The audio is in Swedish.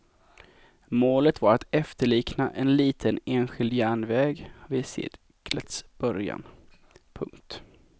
Målet var att efterlikna en liten enskild järnväg vid seklets början. punkt